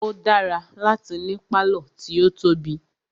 O dára láti ní pálọ̀ tí o tóbi.